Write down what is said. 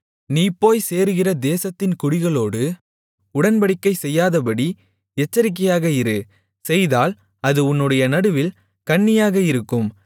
நீ போய்ச் சேருகிற தேசத்தின் குடிகளோடு உடன்படிக்கை செய்யாதபடி எச்சரிக்கையாக இரு செய்தால் அது உன்னுடைய நடுவில் கண்ணியாக இருக்கும்